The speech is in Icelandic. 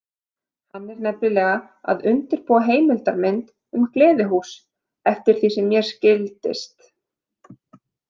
Hann er nefnilega að undirbúa heimildarmynd um gleðihús, eftir því sem mér skildist.